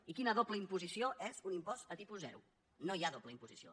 i quina doble imposició és un impost a tipus zero no hi ha doble imposició